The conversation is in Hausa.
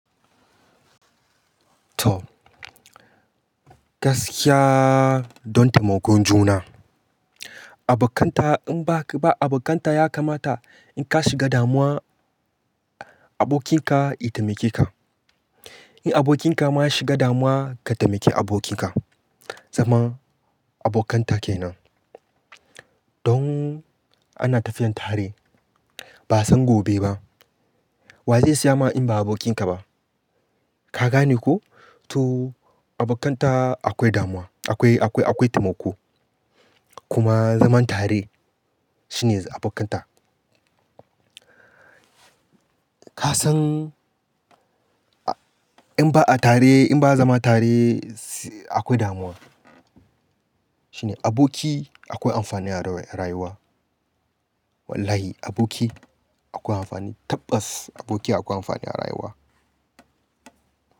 To, gaskiya don taimakon juna. Abokanta in ba abokanta ya kamata in ka shiga damuwa abokinka ya taimake ka. In abokinka ma ya shiga damuwa, ka taimake abokinka. Zaman abokanta ke nan. Don ana tafiyan tare ba san gobe ba. Wa zai saya ma in ba abokinka ba? Ka gane ko? To abokanta akwai damuwa, akwai, akwai, akwai taimako. Kuma zaman tare shine abokanta. Ka san in ba a tare in ba a zama tare akwai damuwa. Jin aboki akwai amfani a rayuwa. Wallahi aboki akwai amfani tabbas aboki akwai amfani a rayuwa.